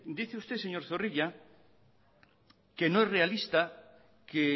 dicho usted señor zorrilla que no es realista que